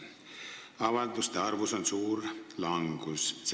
Nende avalduste arv on kõvas languses.